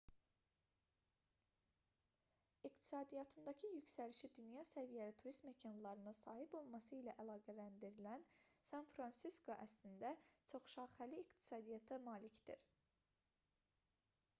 i̇qtisadiyyatındakı yüksəlişi dünya səviyyəli turist məkanlarına sahib olması ilə əlaqələndirilən san-fransisko əslində çoxşaxəli iqtisadiyyata malikdir